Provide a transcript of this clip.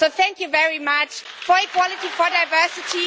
So thank you very much for equality and for diversity.